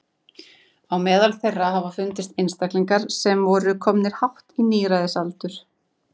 Á meðal þeirra hafa fundist einstaklingar sem voru komnir hátt á níræðisaldur.